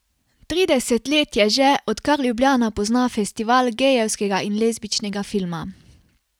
Trideset let je že, odkar Ljubljana pozna Festival gejevskega in lezbičnega filma.